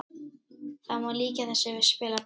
Það má líkja þessu við spilaborg